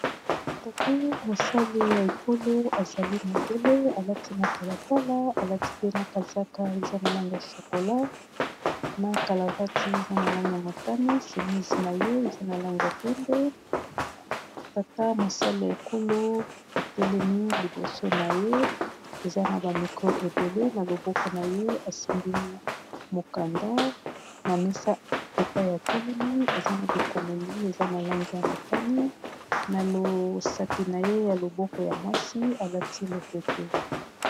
Tata mosali ya ekolo azali mondele a lati matalatala a lati pe na kazaka eza na langi ya chocolat, na kalavati eza na langi ya motane, simisi na ye eza na langi ya pembe . Tata mosali ya ekolo a telemi liboso na ye eza na ba micro ébélé na loboko na ye a simbi mukanda na mesa epai ya telemi eza na bikomeli eza na langi ya motane, na losapi na ye ya loboko ya mwasi, a lati lopete .